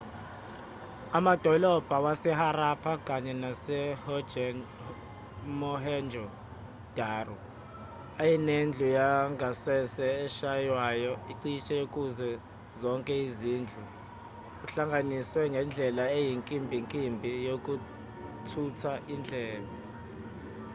amadolobha waseharappa kanye nasemohenjo-daro ayenedlu yangasese eshaywayo cishe kuzo zonke izindlu ehlanganiswe nendlela eyinkimbinkimbi yokuthutha indle